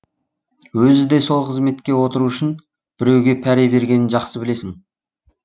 өзі де сол қызметке отыру үшін біреуге пәре бергенін жақсы білесің